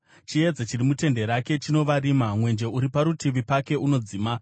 Chiedza chiri mutende rake chinova rima; mwenje uri parutivi pake unodzima.